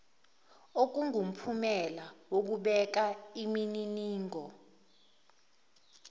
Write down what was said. kungumphumela wokubeka imininingo